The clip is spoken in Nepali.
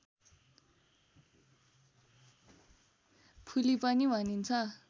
फुली पनि भनिन्छ